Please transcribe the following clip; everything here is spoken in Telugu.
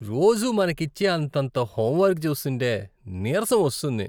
రోజూ మనకిచ్చే అంతంత హోంవర్క్ చూస్తుంటే నీరసమొస్తుంది.